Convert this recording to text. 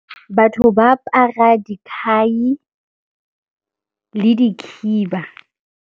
Batho ba apara dikhai le dikhiba.